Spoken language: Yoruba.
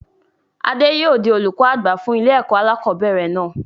Adé yìí ó di olùkọ́ àgbà fún ilé ẹ̀kọ́ alakọ̀bẹ́ẹ́rẹ̀ náà